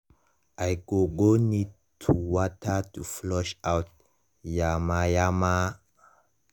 i go go need to water to flush out yamayama.